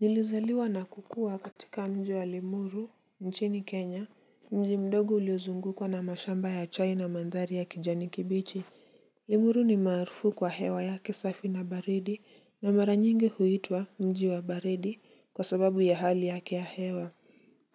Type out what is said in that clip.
Nilizaliwa na kukua katika mji wa Limuru, nchini Kenya, mji mdogo uliozungukwa na mashamba ya chai na mandhari ya kijani kibichi. Limuru ni maarufu kwa hewa yake safi na baridi na mara nyingi huitwa mji wa baridi kwa sababu ya hali yake ya hewa.